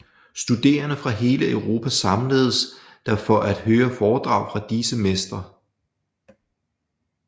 Studerende fra hele Europa samledes der for at høre foredrag fra disse mestre